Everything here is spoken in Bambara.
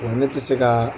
ne tɛ se ka